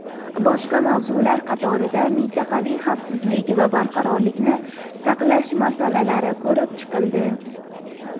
Boshqa mavzular qatorida mintaqaviy xavfsizlik va barqarorlikni saqlash masalalari ko‘rib chiqildi.